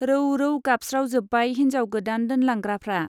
रौ रौ गाबस्रावजोब्बाय हिन्जाव गोदान दोनलांग्राफ्रा।